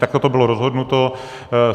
Takto to bylo rozhodnuto.